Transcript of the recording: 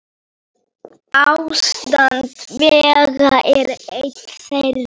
Ástand vega er ein þeirra.